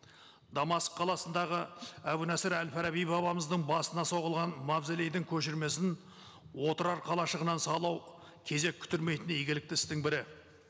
дамаск қаласындағы әбу насыр әл фараби бабамыздың басына соғылған мавзолейдің көшірмесін отырар қалашығынан салу кезек күттірмейтіндей игілікті істің бірі